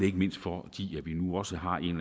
ikke mindst fordi vi nu også har en